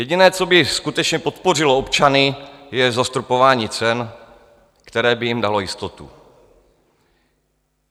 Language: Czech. Jediné, co by skutečně podpořilo občany, je zastropování cen, které by jim dalo jistotu.